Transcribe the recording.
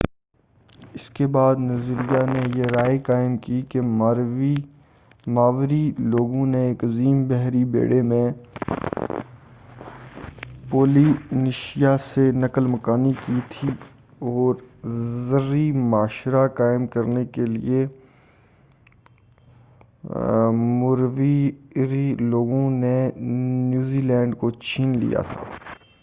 اسکے بعد نظریہ نے یہ رائے قائم کی کہ ماوری لوگوں نے ایک عظیم بحری بیڑے میں پولینیشیا سے نقل مکانی کی تھی اور زرعی معاشرہ قائم کرنے کیلئے موریوری لوگوں سے نیو زیلینڈ کو چھین لیا تھا